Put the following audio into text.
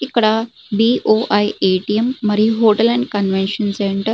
ఇక్కడ B O I A. T. M మరియు hotel and convention centre --